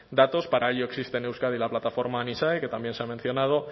datos para ello existe en euskadi la plataforma nisae que también se ha mencionado